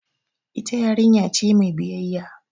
Ita yarinya ce mai biyayya.